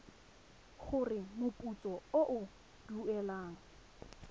gore moputso o o duelwang